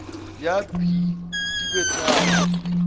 ya b di be tharo